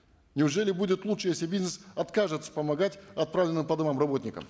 неужели будет лучше если бизнес откажется помогать отправленным по домам работникам